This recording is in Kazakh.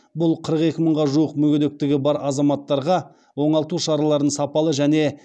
бұл қырық екі мыңға жуық мүгедектігі бар азаматтарға оңалту шараларын сапалы және